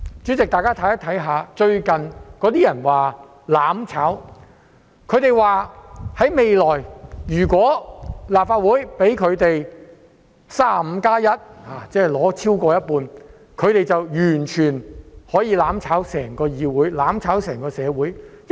主席，最近有人提出要"攬炒"，指如將來在立法會選舉取得 "35+1" 過半數議席的話，便可完全"攬炒"整個議會和社會。